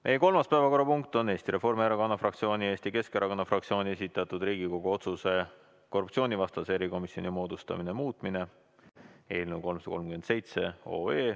Meie kolmas päevakorrapunkt on Eesti Reformierakonna fraktsiooni ja Eesti Keskerakonna fraktsiooni esitatud Riigikogu otsuse "Riigikogu otsuse "Korruptsioonivastase erikomisjoni moodustamine" muutmine" eelnõu 337.